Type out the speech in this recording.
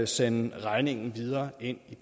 sende regningen videre ind